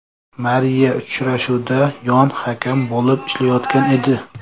Mariya uchrashuvda yon hakam bo‘lib ishlayotgan edi.